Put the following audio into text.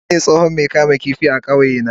Lawal shine tsohon Mai kamun kifi a kauyena.